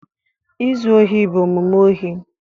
Izu ohi bụ omume ohi